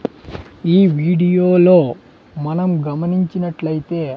ఈ వీడియోలో మనం గమనించినట్లు అయితే.